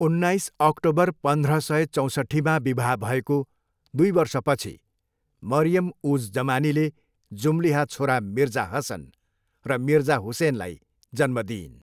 उन्नाइस अक्टोबर पन्ध्र सय चौँसट्ठीमा विवाह भएको दुई वर्षपछि मरियम उज जमानीले जुम्ल्याहा छोरा मिर्जा हसन र मिर्जा हुसेनलाई जन्म दिइन्।